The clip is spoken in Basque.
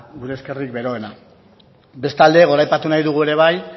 gure eskerrik beroena bestalde goraipatu nahi dugu ere bai